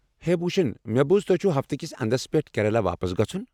ہے بھوٗشن، مےٚ بوٗز تۄہہِ چھُو ہفتہٕ كِس اندس پٮ۪ٹھ کیریلہ واپس گژھُن۔